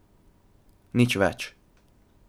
Nič več!